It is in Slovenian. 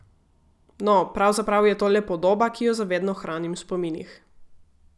No, pravzaprav je to le podoba, ki jo za vedno hranim v spominih.